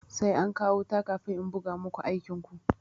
Sai an kawo wuta kafin in buga muku aikin ku.